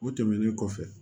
O tɛmɛnen kɔfɛ